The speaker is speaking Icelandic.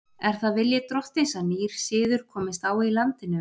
Er það vilji drottins að nýr siður komist á í landinu?